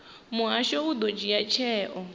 muhasho u ḓo dzhia tsheo